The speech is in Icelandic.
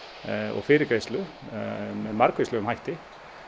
og fyrirgreiðslu með margvíslegum hætti